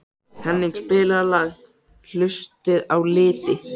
Henning, spilaðu lagið „Haustið á liti“.